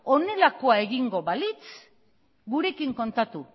honelakoa egingo balitz gurekin kontatu